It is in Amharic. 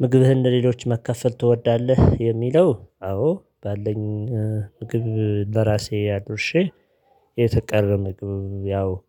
ምግብህን ለሌሎች መከፈል ትወዳለህ የሚለው? አዎ ባለኝ ምግብ ለራሴ አድርሼ የተቀረ ምግብ